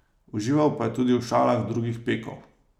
Užival pa je tudi v šalah drugih pekov.